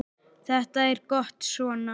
Þetta er gott svona.